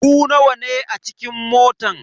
Ku nawa ne a cikin motan.